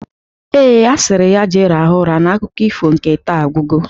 Ee, a sịrị ya jee rahụ ụra na akụkọ ifo nke taa agwugo